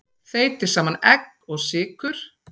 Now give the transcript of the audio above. Þeytið saman egg og sykur.